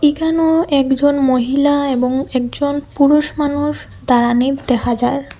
এখানেও একজন মহিলা এবং একজন পুরুষ মানুষ দাঁড়ানি দেখা যায়।